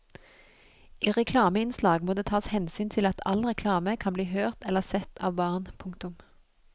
I reklameinnslag må det tas hensyn til at all reklame kan bli hørt eller sett av barn. punktum